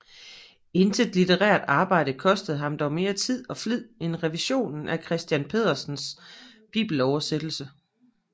Intet litterært arbejde kostede ham dog mere tid og flid end revisionen af Christiern Pedersens bibeloversættelse